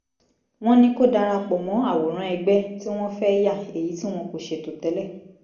wọ́n ní kó darapọ̀ mọ́ àwòrán ẹgbẹ́ tí wọ́n fẹ́ yà èyí tí wọn kò ṣètò tẹ́lẹ̀